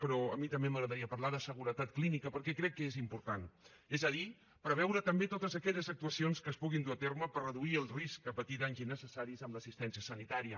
però a mi també m’agradaria parlar de seguretat clínica perquè crec que és important és a dir preveure també totes aquelles actuacions que es puguin dur a terme per reduir el risc a patir danys innecessaris en l’assistència sanitària